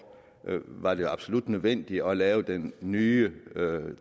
var det absolut nødvendigt at lave den nye